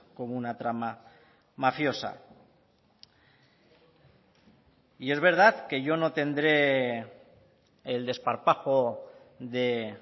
como una trama mafiosa y es verdad que yo no tendré el desparpajo de